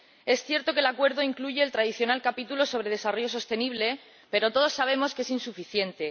Es cierto que el Acuerdo incluye el tradicional capítulo sobre desarrollo sostenible, pero todos sabemos que es insuficiente.